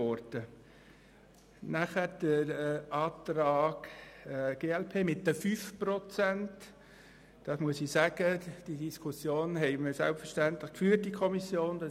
Zum Antrag der glp auf Kürzung um 5 Prozent: Wir haben diese Diskussion in der Kommission geführt.